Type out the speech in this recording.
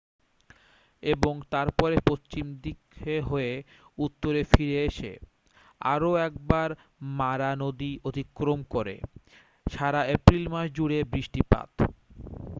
এবং তারপরে পশ্চিম দিকে হয়ে উত্তরে ফিরে এসে আরও একবার মারা নদী অতিক্রম করে সারা এপ্রিল মাস জুড়ে বৃষ্টিপাত